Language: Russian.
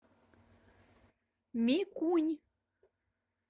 микунь